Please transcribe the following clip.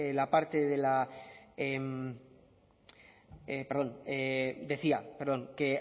decía que